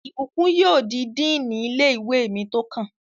Ìbùkún yóò di díìnì ilé-ìwé mi tó kàn